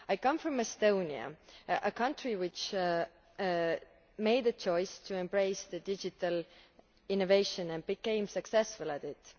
I come from Estonia, a country which made a choice to embrace digital innovation and became successful at it.